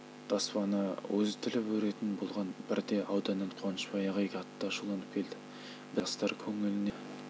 таспаны өзі тіліп өретін болған бірде ауданнан қуанышбай ағай қатты ашуланып келді біз кілең жастар көңілінен